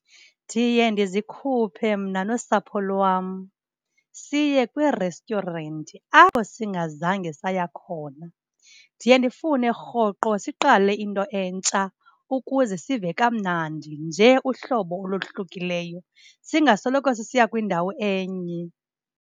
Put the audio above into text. Ndiye ndizikhuphe mna nosapho lwam siye kwiresityurenti apho singazange saya khona. Ndiye ndifune rhoqo siqale into entsha ukuze sive kamnandi nje uhlobo olohlukileyo, singasoloko sisiya kwindawo enye.